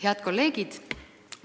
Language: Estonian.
Head kolleegid!